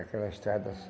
Aquela estrada assim.